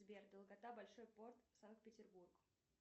сбер долгота большой порт санкт петербург